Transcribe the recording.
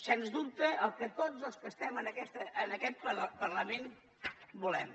sens dubte el que tots els que estem en aquest parlament volem